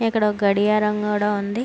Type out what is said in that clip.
ఇక్కడ ఒక గడియారం కూడా ఉంది.